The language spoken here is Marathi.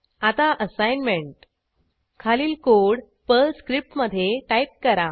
आता असाईनमेंट खालील कोड पर्ल स्क्रिप्टमधे टाईप करा